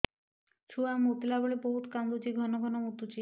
ଛୁଆ ମୁତିଲା ବେଳେ ବହୁତ କାନ୍ଦୁଛି ଘନ ଘନ ମୁତୁଛି